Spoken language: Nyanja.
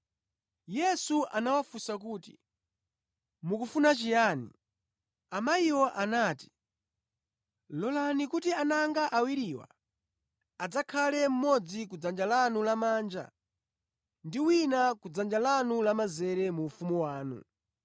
Yesu anawafunsa kuti, “Mukufuna chiyani?” Amayiwo anati, “Lolani kuti ana anga awiriwa adzakhale mmodzi ku dzanja lanu lamanja ndi wina ku dzanja lanu lamazere mu ufumu wanu.”